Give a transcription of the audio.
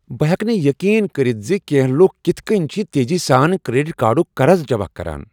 بہٕ ہیٚکہٕ نہٕ یقین کٔرتھ زِ کینٛہہ لکھ کتھہٕ كٕنۍ چھِ تیزی سان کریڈٹ کارڈک قرض جمع کران۔